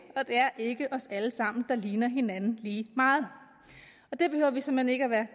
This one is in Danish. og det er ikke os alle sammen der ligner hinanden lige meget og det behøver vi såmænd ikke at være